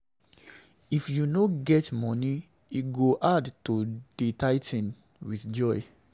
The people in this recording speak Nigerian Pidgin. If you no get money, e go hard to dey tithing with joy.